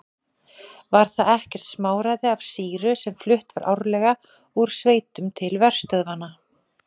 Var það ekkert smáræði af sýru sem flutt var árlega úr sveitum til verstöðvanna.